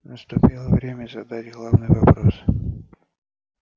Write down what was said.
наступило время задать главный вопрос